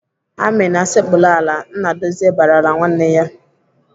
"Amina, sekpuru ala!" Nnadozie barala nwanne ya.